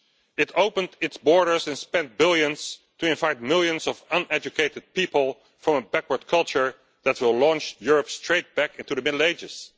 It opened its borders and spent billions to invite millions of uneducated people from a backward culture that will launch Europe straight back into the Middle Ages.